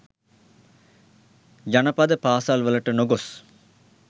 ජනපද පාසැල් වලට නොගොස්